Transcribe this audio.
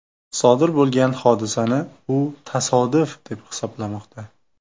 Sodir bo‘lgan hodisani u tasodif, deb hisoblamoqda.